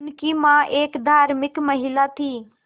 उनकी मां एक धार्मिक महिला थीं